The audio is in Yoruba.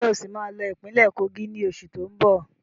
Ń jẹ́ ó sì máa lọ ìpínlẹ́ Kogi ni oṣù tóun bọ̀?